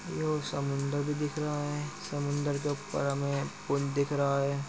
यो समुन्द्र भी दिख रहा है। समुद्र के ऊपर हमे पुल दिख रहा है।